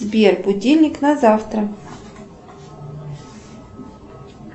сбер будильник на завтра